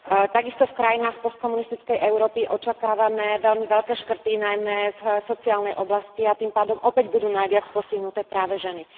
Takisto v krajinách postkomunistickej Európy očakávame veľmi veľké redukcie najmä v sociálnej oblasti, a tým pádom budú opäť najviac postihnuté práve ženy.